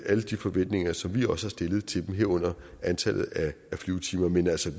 alle de forventninger som vi også har stillet til dem herunder antallet af flyvetimer men altså